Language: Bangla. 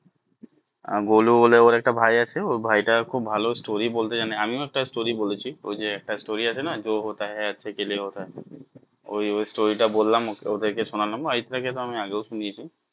গোলু বলে ওর একটা ভাই আছে ওর ভাই টা খুব ভালো story বলতে জানে, আমি ও একটা story বলেছি ওই যে একটা story আছে না যো হোতা হে আচ্ছেকে লিয়ে হোতা হে ওই ওই story টা বললাম ওদের কে শোনালাম অরিত্রা কে তো আমি আগেই শুনিয়েছি